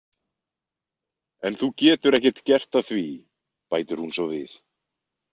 En þú getur ekkert gert að því, bætir hún svo við.